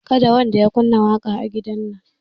Kada wanda ya kunna waƙa a gidan nan